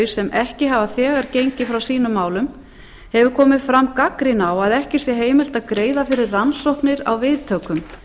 sem ekki hafa þegar gengið frá sínum málum eftir komið fram gagnrýni á að ekki sé heimilt að greiða fyrir rannsóknir á viðtökum